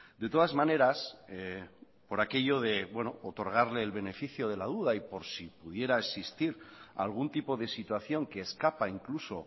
de todas maneras por aquello de otorgarle el beneficio de la duda y por si pudiera existir algún tipo de situación que escapa incluso